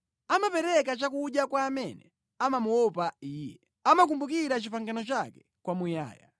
Amapereka chakudya kwa amene amamuopa Iye; amakumbukira pangano lake kwamuyaya.